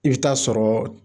I bi t'a sɔrɔɔ